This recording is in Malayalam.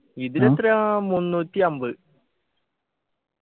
ഇതിലെത്ര മുന്നൂറ്റി അമ്പത്